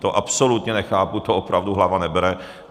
To absolutně nechápu, to opravdu hlava nebere.